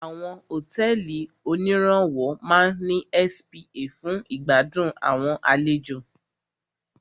Àwọn hotẹ́ẹ́li oníràwọ̀ máà ní spa fún ìgbàdùn àwọn àlejò.